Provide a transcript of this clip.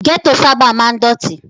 Gẹ́tò sábà máa ń dọ̀tí.